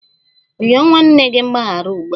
Rịọ nwanne gị mgbaghara ugbu a!